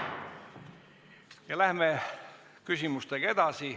Ja läheme küsimustega edasi.